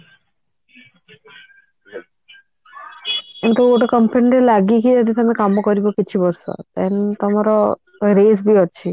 ଯୋଉ ଗୋଟେ company ରେ ଲାଗିକି ତମେ କାମ କରିବ କିଛି ବର୍ଷ then ତମର raise ବି ଅଛି